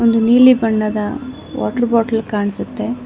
ಒಂದು ನೀಲಿ ಬಣ್ಣದ ವಾಟರ್ ಬಾಟಲ್ ಕಾಣಿಸುತ್ತೆ.